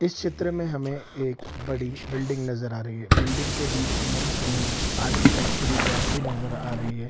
इस चित्र में हमें एक बड़ी बिल्डिंग नज़र आ रही है बिल्डिंग के बीच में हमें आर्किटेक्चरी गैप भी नज़र आ रही है।